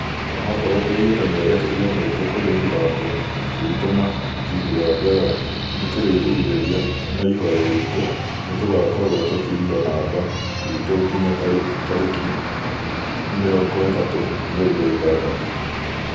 "Onokorwo tũigĩte merekeria maitũ kũrĩ mũthako witũ na timũ ya bella , nĩkĩrirĩrĩria na ihoya ritũ nĩtũgakorwo tũkĩiga namba itũ nginya tarĩkĩ 30 mweri wa ithathatu.